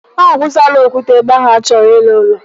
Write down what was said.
A wụsala okwute ebe ahụ achọrọ iru ụlọ